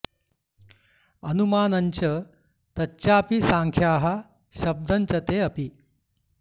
अनुमानञ् च तच्चापि सांख्याः शब्दं च ते अपि